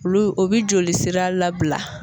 Olu o bi jolisira labila.